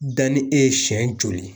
Danni e ye siɲɛ joli